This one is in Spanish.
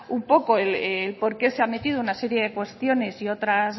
un poco por qué se ha metido una serie de cuestiones y otras